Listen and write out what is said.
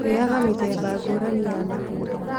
Rĩaga mĩthemba ngũrani ya matunda